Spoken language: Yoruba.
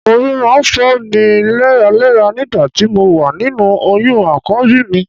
Orí máa ń fọ́ mi léraléra nígbà tí mo wà nínú oyún Àkọ́bí mi